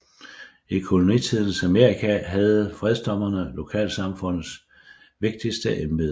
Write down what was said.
I kolonitidens Amerika havde fredsdommere lokalsamfundets vigtigste embede